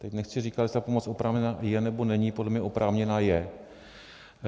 Teď nechci říkat, jestli ta pomoc oprávněná je, nebo není, podle mě oprávněná je.